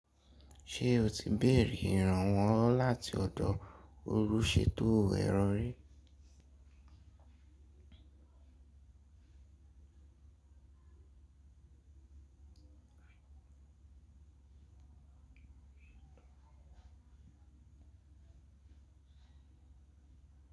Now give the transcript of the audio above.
Ṣé o ti bèrè ìrànwọ́ láti ọ̀dọ̀ olùṣètò ẹ̀rọ rí?